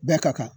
Bɛɛ ka kan